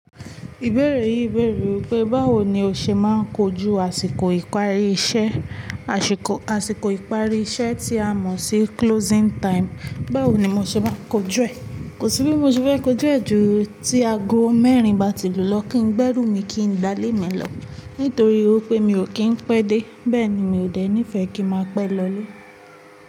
Ìbéèrè yìí bèèrè wípé báwo ni ó ṣe máa ń kojú àsìkò ìparí iṣẹ́, àsìkò, àsìkò ìparí iṣẹ́ tí a mọ̀ sí closing time. Báwo ni mo ṣe máa kojú ẹ̀? Kò sí bí mo ṣe fẹ́ kojú ẹ̀ ju tí aago mẹ́rin bá ti lù lọ kí n gbẹ́rù mi kí n gbálè mí lọ, nítorí wípé mi ò kí ń pẹ́ dé. Bẹ́ẹ̀ ni mi ò dé ní ìfẹ́ kí máa pẹ́ lọlé.